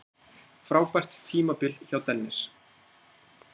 Frábært tímabil hjá Dennis